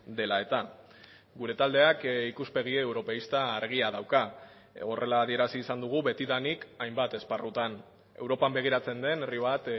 dela eta gure taldeak ikuspegi europeista argia dauka horrela adierazi izan dugu betidanik hainbat esparrutan europan begiratzen den herri bat